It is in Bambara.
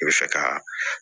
I bɛ fɛ ka